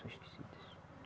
São esquecidas.